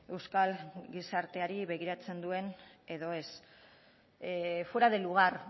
euskal gizarteari begiratzen duen edo ez fuera de lugar